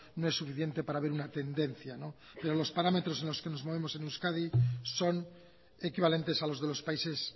no es suficiente para ver una tendencia pero los parámetros en los que nos movemos en euskadi son equivalentes a los de los países